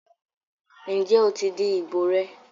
ǹjẹ́ o ti di ìbò rẹ?